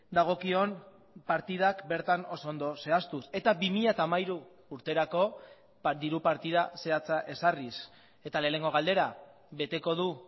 dagokion partidak bertan oso ondo zehaztuz eta bi mila hamairu urterako diru partida zehatza ezarriz eta lehenengo galdera beteko du